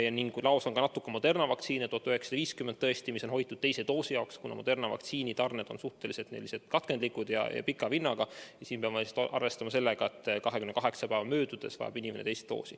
Laos on tõesti ka natuke Moderna vaktsiini, 1950 doosi, mida on hoitud teise süsti jaoks, kuna Moderna vaktsiini tarned on suhteliselt katkendlikud ja pika vinnaga ning peab arvestama, et 28 päeva möödudes vajab inimene teist doosi.